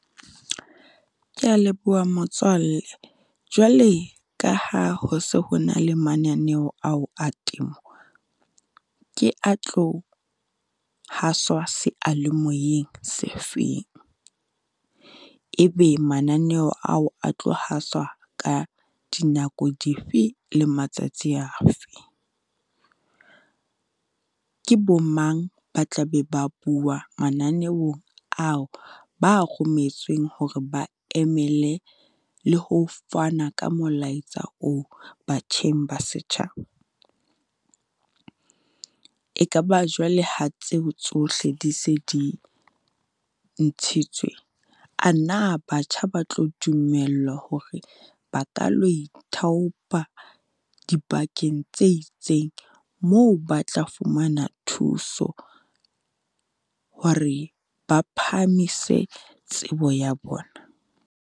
Kea leboha motswalle, jwale ka ha ho se ho na le mananeo ao a temo. Ke a tlo haswa sealemoyeng se feng, e be mananeo ao a tlo haswa ka dinako dife? Le matsatsi afe? Ke bo mang ba tla be ba bua mananeong ao ba a rometsweng hore ba emele le ho fana ka molaetsa oo batjheng ba setjhaba? E ka ba jwale ha tseo tsohle di se di ntshitswe, a na batjha ba tlo dumellwa hore ba ka lo ithaopa dibakeng tse itseng, moo ba tla fumana thuso hore ba phahamise tsebo ya bona?